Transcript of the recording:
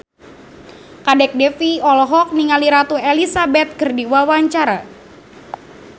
Kadek Devi olohok ningali Ratu Elizabeth keur diwawancara